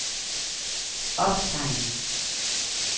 optegn